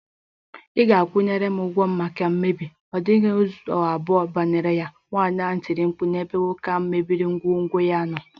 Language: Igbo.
Ị ga- akwụ m ụgwọ maka mmebi, ọ dịghị ụzọ abụọ banyere ya, nwaanyị ahụ tiri mkpu n' ebe nwoke ahụ mebiri ngwongwo ya nọ.